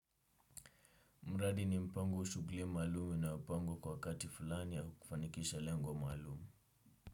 Mradi ni mpango wa shughuli maalumu inayopangwa kwa wakati fulani ya kufanikisha lengo maalumu.